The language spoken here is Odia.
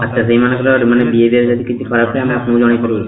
ଆଚ୍ଛା, ସେଇମାନେ ହେଲା ଯୋଉମାନେ behavior ଯଦି କିଛି ଖରାପ ଥାଏ ଆମେ ଆପଣଙ୍କୁ ଜଣେଇକି କୋଳ କରିବୁ